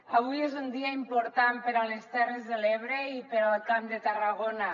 avui és un dia important per a les terres de l’ebre i per al camp de tarragona